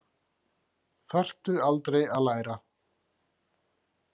Þarftu aldrei að læra?